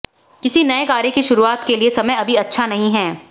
किसी नए कार्य की शुरुआत के लिए समय अभी अच्छा नहीं है